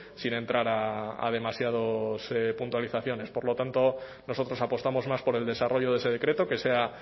sin entrar a demasiados puntualizaciones por lo tanto nosotros apostamos más por el desarrollo de ese decreto que sea